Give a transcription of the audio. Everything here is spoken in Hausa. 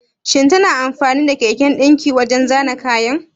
Shin tana amfani da keken dinki wajen zana kayan?